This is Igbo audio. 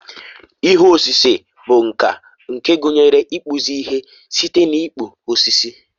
ihe osise bụ nka nke gụnyere ịkpụzi ihe site n'ịkpụ osisi